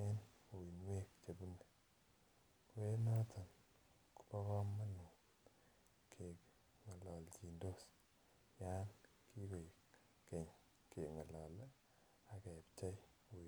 en uinuek chebune, ko noton Kobo komonut kengololjin yon kikoik Keny kengolole akepchei.